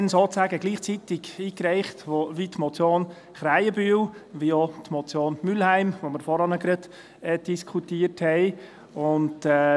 Ich habe sie damals sozusagen gleichzeitig wie die Motion Krähenbühl eingereicht und auch die Motion Mühlheim die wir vorhin diskutiert haben.